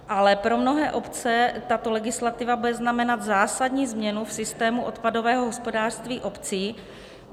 Ale pro mnohé obce tato legislativa bude znamenat zásadní změnu v systému odpadového hospodářství obcí.